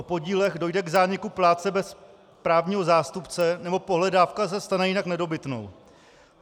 - o podílech dojde k zániku plátce bez právního zástupce nebo pohledávka se stane jinak nedobytnou.